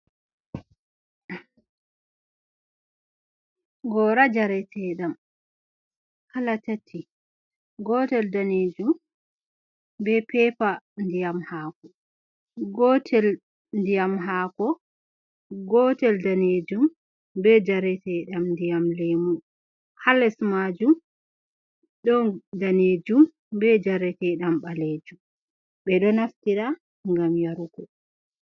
Gora njareteɗam, kala tati. Gotel danejum, be pepa ndiyam haako, gotel ndiyam haako, gotel danejum be njareteɗam ndiyam lemu. Haa les majum ɗon danejum be njareteɗam ɓalejum. Ɓe ɗo naftira ngam yarugo.